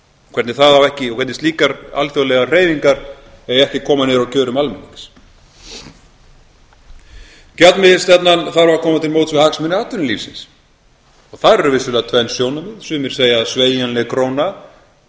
hvernig það á ekki og hvernig slíkar alþjóðlegar hreyfingar eiga ekki að koma niður á kjörum almennings gjaldmiðilsstefnan þarf að koma til móts við hagsmuni atvinnulífsins og þar eru vissulega tvenn sjónarmið sumir segja að sveigjanleg króna